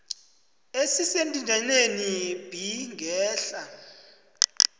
esendinyaneni b ngehla